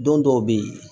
Don dɔw bɛ yen